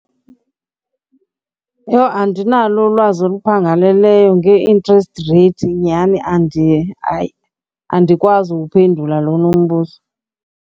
Yho, andinalo ulwazi oluphangaleleyo ngee-interest rate nyhani . Hayi, andikwazi uwuphendula lona unombuzo.